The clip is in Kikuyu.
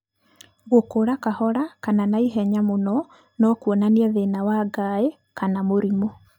Gũkũra kahora kana naihenya mũno no kwonanie thĩna wa ngaĩ kana mũrimũ.